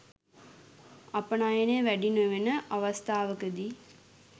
අපනයන වැඩි නෙවන අවස්ථාවකදී